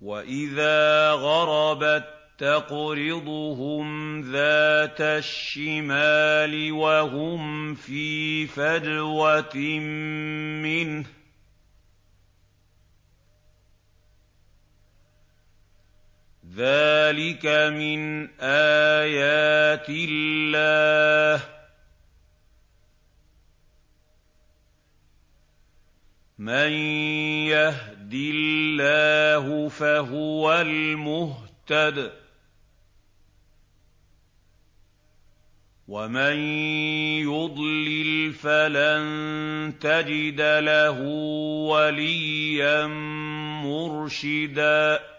وَإِذَا غَرَبَت تَّقْرِضُهُمْ ذَاتَ الشِّمَالِ وَهُمْ فِي فَجْوَةٍ مِّنْهُ ۚ ذَٰلِكَ مِنْ آيَاتِ اللَّهِ ۗ مَن يَهْدِ اللَّهُ فَهُوَ الْمُهْتَدِ ۖ وَمَن يُضْلِلْ فَلَن تَجِدَ لَهُ وَلِيًّا مُّرْشِدًا